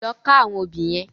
Lò ká áwòn óbì yèn